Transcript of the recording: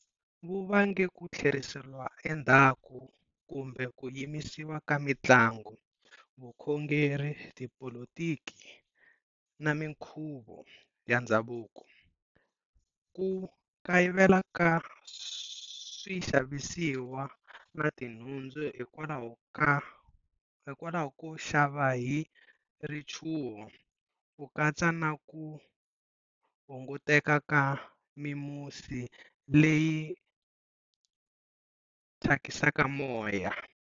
Wu vange ku thleriseriwa endzhaku kumbe ku yimisiwa ka mitlangu, vukhongeri, tipolotiki na minkhuvo ya ndzhavuko, ku kayivela ka swixavisiwa na tinhundzu hikwalaho ko xava hi richuho, ku katsa na ku hunguteka ka mimusi leyi thyakisaka moya.